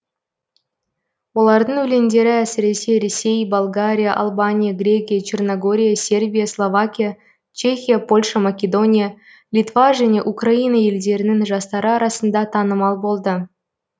олардың өлеңдері әсіресе ресей болгария албания грекия черногория сербия словакия чехия польша македония литва және украина елдерінің жастары арасында танымал болды